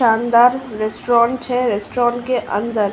शानदार रेस्टोरेंट है। रेस्टोरेंट के अंदर --